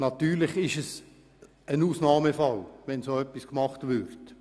Natürlich wäre es ein Ausnahmefall, wenn so etwas gemacht würde.